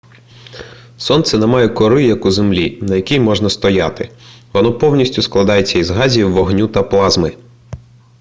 сонце не має кори як у землі на якій можна стояти воно повністю складається із газів вогню та плазми